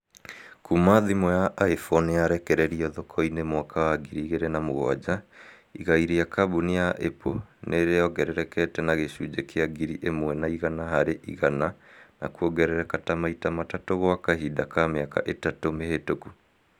kuma thimũ ya iphone yarekererio thoko-ĩnĩ mwaka wa ngiri igiri na mũgwanja, igai rĩa kambuni ya Apple nĩ rĩongererekete na gĩcunjĩ kĩa ngiri imwe na igana hari igana na kuongerereka ta maita matatũ gwa kahinda ka miaka ĩtatu mĩhĩtũku